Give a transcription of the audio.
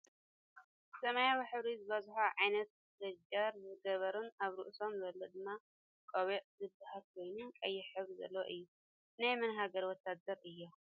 ሰማያዊ ሕብሪ ዝበዝሖ ዓይነት ሌንጀር ዝገበሩን ኣብ ርእሶም ዘሎድማ ቆቢዒ ዝብሃል ኮይኑ ቀይሕ ሕብሪ ዘለዎ እዩ። ናይ መን ሃገር ወታደር እዮም?